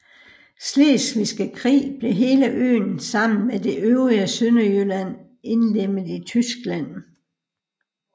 Slesvigske Krig blev hele øen sammen med det øvrige Sønderjylland indlemmet i Tyskland